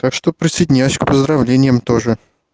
так что присоединяюсь к поздравлениям тоже